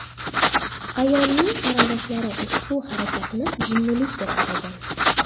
Ayolning qarindoshlari ushbu harakatni jinnilik deb atagan.